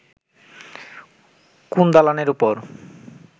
কোন দালানের ওপর